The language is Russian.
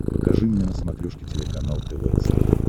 покажи мне на смотрешке телеканал тв центр